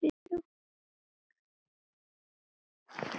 Enda gerir